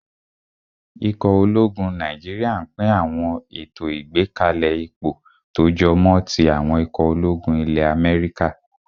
Ikọ̀ ológun Nàìjíríyà n pín àwọn ètò ìgbákalẹ̀ ipò tó jọmọ́ tí àwọn ikọ̀ ológun ilẹ́ Amẹ́ríkà